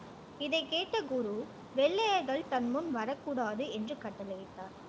இதைக் கேட்ட குரு வெள்ளையர்கள் தன் முன் வரக் கூடாது என்று கட்டளையிட்டார்.